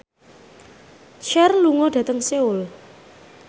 Cher lunga dhateng Seoul